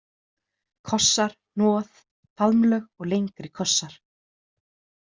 Kossar, hnoð, faðmlög og lengri kossar.